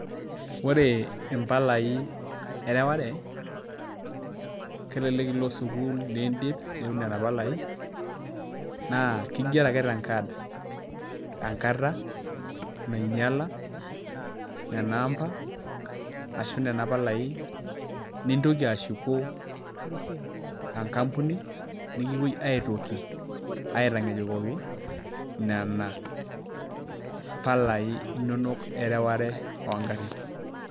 Ore impalai ereware kelelek ilo sukuul niidip nitum nena palai, naa kigero ake tenkaad, enkata nainyiala, nena amba ashu nena palai nintoki ashu enkampuni nikipoi aitoki aitankejukoki nena palai inono ereware oogarin.